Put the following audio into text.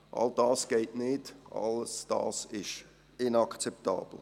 All das geht nicht, all das ist inakzeptabel.